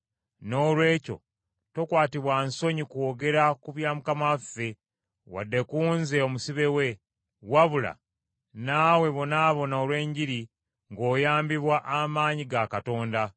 Noolwekyo tokwatibwa nsonyi kwogera ku bya Mukama waffe, wadde ku nze omusibe we, wabula naawe bonaabona olw’Enjiri ng’oyambibwa amaanyi ga Katonda,